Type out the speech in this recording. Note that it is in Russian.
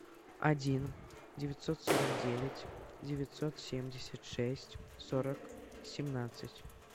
один девятьсот сорок девять девятьсот семьдесят шесть сорок семнадцать